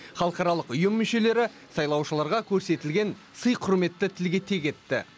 халықаралық ұйым мүшелері сайлаушыларға көрсетілген сый құрметті тілге тиек етті